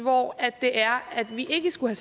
er vi ikke skulle